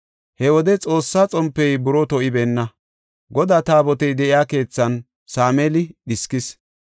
He wode Xoossa xompey buroo to7ibeenna; Godaa Taabotey de7iya keethan Sameeli dhiskis.